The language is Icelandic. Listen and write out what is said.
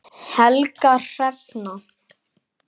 Helga Hrefna.